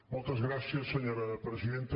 moltes gràcies senyora presidenta